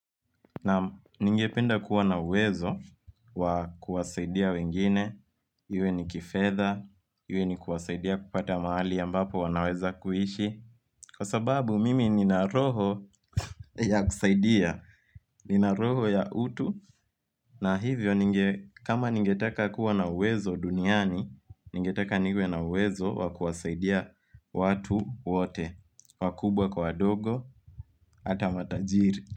Na ningependa kuwa na uwezo wa kuwasaidia wengine, iwe ni kifedha, iwe ni kuwasaidia kupata mahali ambapo wanaweza kuishi Kwa sababu mimi nina roho ya kusaidia, nina roho ya utu na hivyo kama ningetaka kuwa na uwezo duniani, ningetaka niwe na uwezo watu kuwasaidia watu wote. Wakubwa kwa wadogo, ata matajiri.